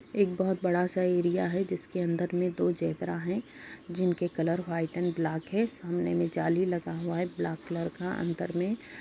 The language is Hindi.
एक बोहोत बड़ा सा एरिया है जिसके अंदर में दो जेब्रा है जिनके कलर व्हाइट एंड ब्लैक है। सामने में जाली लगा हुआ है ब्लैक कलर का। अंदर में --